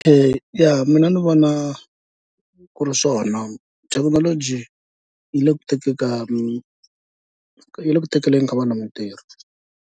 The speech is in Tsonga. Ya mina ni vona ku ri swona thekinoloji yi le ku tekeni ka yi le ku tekeleni ka vana mitirho.